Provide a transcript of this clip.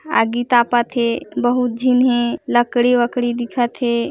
आगी तापत हे बहुत झन हे लकड़ी-वकडी दिखत हे।